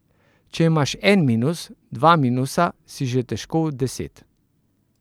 Če imaš en minus, dva minusa, si že težko v deset.